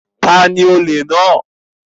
Ta ni olè náà?